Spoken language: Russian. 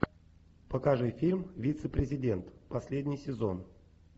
покажи фильм вице президент последний сезон